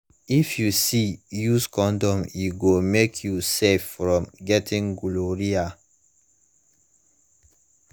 if u see use condom e go mk u safe from getting gonorrhea